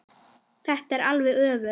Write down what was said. Þetta er alveg öfugt.